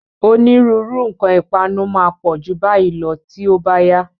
Onírúurú nǹkan ìpanu máa pọ̀ ju báyìí lọ tí ó bá yá.